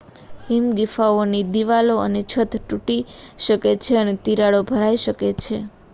હિમ ગુફાઓની દિવાલો અને છત તૂટી શકે છે અને તિરાડો ભરાઈ શકે છે